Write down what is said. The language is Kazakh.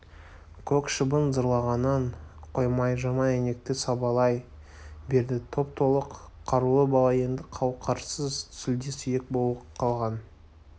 көк шыбын зарлағанын қоймай жаман әйнекті сабалай берді топ-толық қарулы бала енді қауқарсыз сүлде-сүйек боп қалған